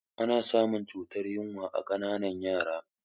Ana samun cutar yunwa a ƙananan yara